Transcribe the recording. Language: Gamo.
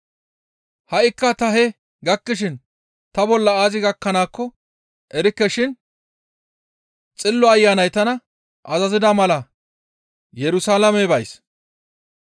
«Ha7ikka ta hee gakkishin ta bolla aazi gakkanaakko erikke shin Xillo Ayanay tana azazida mala Yerusalaame bays.